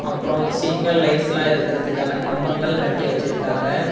அப்றோ சிக்னல் லைட்ஸ்லா இருக்கறதுக்கான கம்பங்கள் கட்டி வெச்சுருக்காங்க.